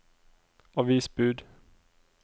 avisbud